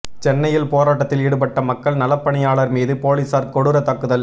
சென்னையில் போராட்டத்தில் ஈடுபட்ட மக்கள் நலப்பணியாளர் மீது போலீசார் கொடூர தாக்குதல்